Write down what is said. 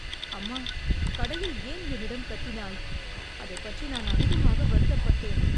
அம்மா! கடையில் ஏன் என்னிடம் கத்தினாய், அதைப் பற்றி நான் அதிகமாக வருத்தப்பட்டேன்.